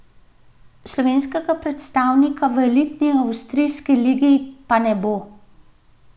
Slovenskega predstavnika v elitni avstrijski ligi pa ne bo.